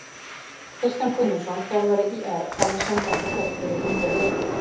Kristján Guðmundsson þjálfari ÍR hafði samband við Hörð fyrir rúmri viku.